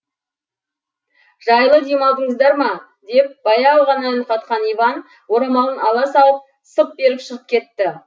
жайлы демалдыңыздар ма деп баяу ғана үн қатқан иван орамалын ала салып сып беріп шығып кетті